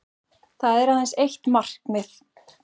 Það er aðeins eitt markið